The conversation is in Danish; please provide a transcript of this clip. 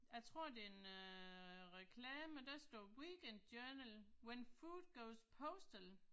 Jeg tror det er en øh reklame, der står Weekend Journal when food goes postal